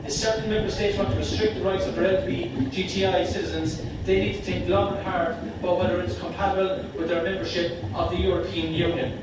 If certain Member States want to restrict the rights of their LGBTI citizens they need to think long and hard about whether it is compatible with their membership of the European Union.